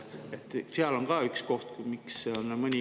Seal on ka üks koht see, miks on mõni …